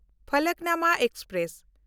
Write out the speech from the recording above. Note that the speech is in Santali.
ᱯᱷᱟᱞᱚᱠᱱᱩᱢᱟ ᱮᱠᱥᱯᱨᱮᱥ